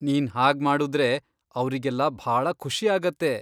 ನೀನ್ ಹಾಗ್ಮಾಡುದ್ರೆ, ಅವ್ರಿಗೆಲ್ಲ ಭಾಳ ಖುಷಿ ಆಗತ್ತೆ.